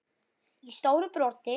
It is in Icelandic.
í stóru broti.